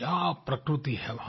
क्या प्रकृति है वहाँ